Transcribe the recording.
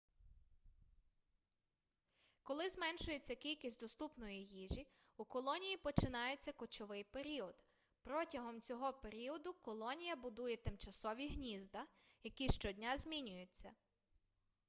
коли зменшується кількість доступної їжі у колонії починається кочовий період протягом цього періоду колонія будує тимчасові гнізда які щодня змінюються